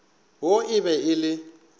wo e be e le